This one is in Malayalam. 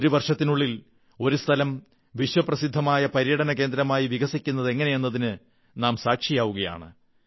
ഒരു വർഷത്തിനുള്ളിൽ ഒരു സ്ഥലം വിശ്വപ്രസിദ്ധമായ പര്യടനകേന്ദ്രമായി വികസിക്കുന്നതെങ്ങനെയെന്നതിന് നാം സാക്ഷിയാണ്